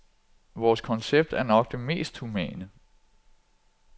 Vores koncept er nok det mest humane.